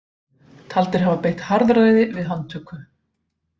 Taldir hafa beitt harðræði við handtöku